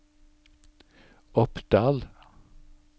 Oppdal